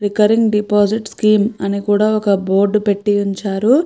ఇక్కడ deposit scheme అని కూడా ఒక బోర్డు పెట్టి ఉంచారు.